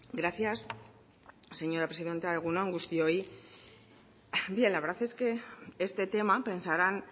gracias señora presidenta egun on guztioi bien la verdad es que este tema pensaran